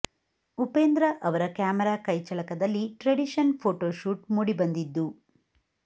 ಉಪೇಂದ್ರ ಅವರ ಕ್ಯಾಮರಾ ಕೈ ಚಳಕದಲ್ಲಿ ಟ್ರೆಡಿಷನ್ ಫೋಟೋ ಶೂಟ್ ಮೂಡಿಬಂದಿದ್ದು